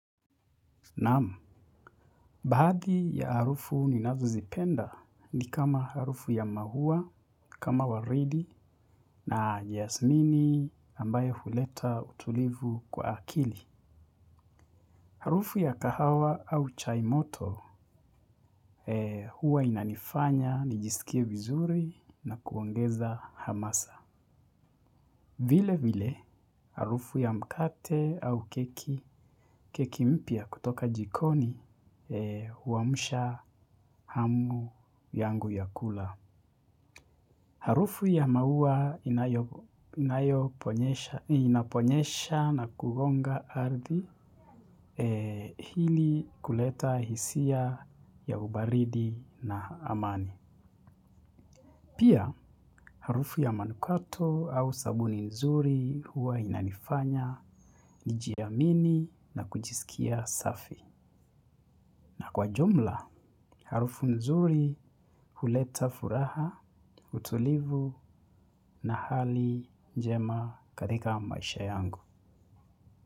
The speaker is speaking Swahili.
Naam, baadhi ya harufu ninazozipenda ni kama harufu ya maua, kama waridi na jasmini ambaye huleta utulivu kwa akili. Harufu ya kahawa au chai moto huwa inanifanya, nijisikie vizuri na kuongeza hamasa. Vile vile harufu ya mkate au keki mpya kutoka jikoni huamusha hamu yangu ya kula. Harufu ya maua inaponyesha na kugonga ardhi hili kuleta hisia ya ubaridi na amani. Pia, harufu ya manukato au sabuni nzuri huwa inanifanya nijiamini na kujisikia safi. Na kwa jumla, harufu nzuri huleta furaha, utulivu na hali njema katika maisha yangu.